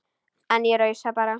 En ég rausa bara.